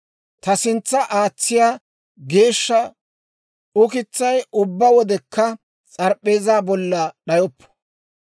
Ta sintsa aatsiyaa geeshsha ukitsay ubbaa wodekka s'arip'p'eezaa bolla d'ayoppo.